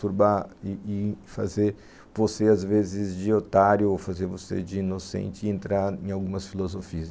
turbar e e fazer você, às vezes, de otário ou fazer você de inocente e entrar em algumas filosofias.